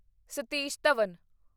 Satish Dhawan